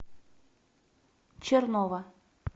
чернова